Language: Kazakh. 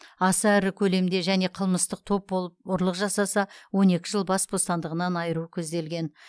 аса ірі көлемде және қылмыстық топ болып ұрлық жасаса он екі жыл бас бостандығынан айыру көзделген